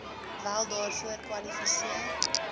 wel daarvoor kwalifiseer